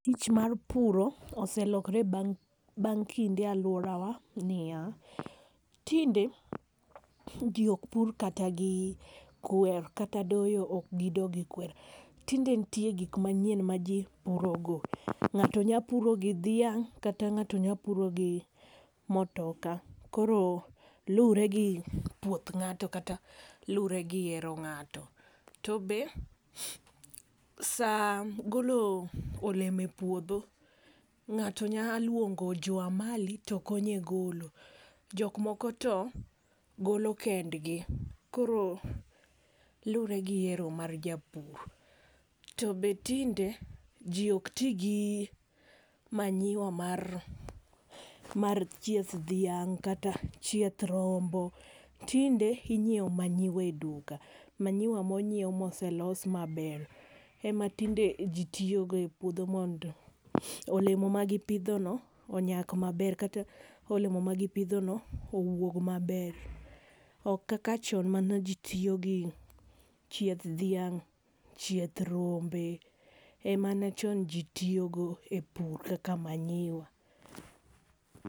Tich mar pur oselokre bang kinde e aluora wa ni ya, tinde ji ok pur kata gi kwer kata doyo be ok gi do gi kwer tinde nitie ng'ato nya puro gi dhiang kata ngato nya puro gi motoka koro luore gi puoth ngato kata luore gi hero ngato. To be saa golo olemo e puodho ngato nya luongo jo amali to konye golo gik moko to golo kendgi. koro luore gi ero mar japur. To tinde ji ok ti gi manyiwa mar mar chieth dhiang kata chieth rombo, tinde inyiewo manyiwa e duka, manyiwa monyiew maoselos ma ber ema tinde ji tiyo go e puodho mondo olemo ma gi pidho go onyak ma ber kata olemo ma gi pidho no owuog ma ber. Ok kaka chon mane ji tiyo gi chieth dhiang, chieth rombe emane chon ji tiyo go kaka manyiwa.